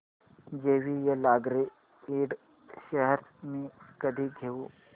JVL agro ind shares मी कधी घेऊ